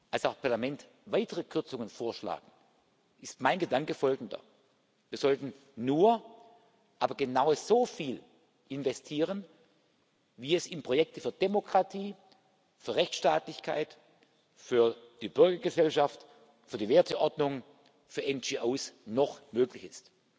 als auch Parlament weitere Kürzungen vorschlagen, ist mein Gedanke folgender Wir sollten nur, aber genau so viel, investieren, wie es in Projekte für Demokratie, für Rechtsstaatlichkeit, für die Bürgergesellschaft, für die Werteordnung, für NGO noch möglich ist.